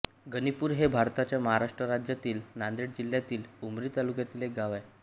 गणीपूर हे भारताच्या महाराष्ट्र राज्यातील नांदेड जिल्ह्यातील उमरी तालुक्यातील एक गाव आहे